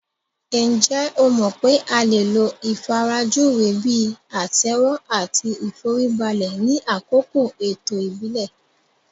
Ǹjẹ́ o mọ̀ pé a lè lo ìfarajúwe bíi àtẹ́wọ́ àti ìforíbalẹ̀ ni àkókò ètò ìbílẹ̀